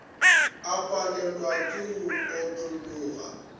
a palelwe ke go otlologa